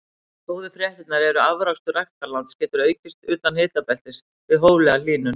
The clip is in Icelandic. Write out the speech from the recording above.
Góðu fréttirnar eru að afrakstur ræktarlands getur aukist utan hitabeltis við hóflega hlýnun.